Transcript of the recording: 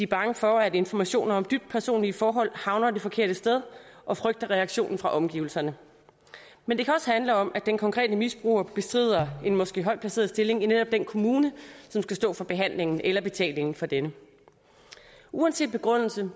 bange for at informationer om dybt personlige forhold havner det forkerte sted og frygter reaktionen fra omgivelserne men det kan også handle om at den konkrete misbruger bestrider en måske højt placeret stilling i netop den kommune som skal stå for behandlingen eller betalingen for denne uanset begrundelse